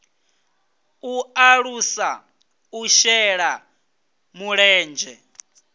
u alusa u shela mulenzhe